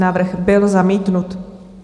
Návrh byl zamítnut.